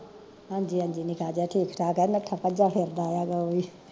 ਹਾਂਜੀ ਹਾਂਜੀ ਨਿੱਕਾ ਜਾ ਠੀਕ ਠਾਕ ਆ ਨੱਠਾ ਭੱਜਾ ਫਿਰਦਾ ਆ ਗਾ ਓਵੀ